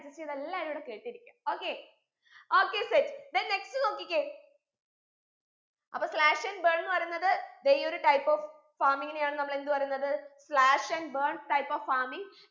adjust ചെയ്ത് എല്ലാരു ഇവിടെ കേട്ടിരിക്ക okay okay set then next നോക്കിക്കേ അപ്പൊ slash and burn എന്ന് പറയുന്നത് ദേ ഈ ഒരു type of farming നെയാണ് നമ്മൾ എന്ത് പറയുന്നത് slash and burn type of farming